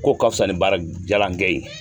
K'o ka fisa ni baara jalan kɛ ye.